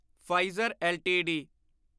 Pfizer LTD